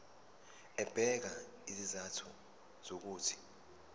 ebeka izizathu zokuthi